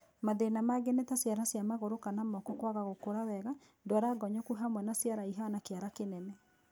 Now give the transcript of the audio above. Mathĩna mangĩ nĩ ta ciara cia magũrũ kana moko kwaga gũkũra wega, ndwara ngonyoku hamwe na ciara ihana kĩara kĩnene